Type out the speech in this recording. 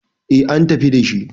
eh an tafi dashi